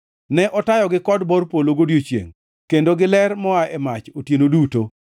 Ne otayogi kod bor polo godiechiengʼ kendo giler moa e mach otieno duto.